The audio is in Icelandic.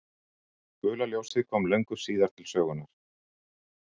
Gula ljósið kom löngu síðar til sögunnar.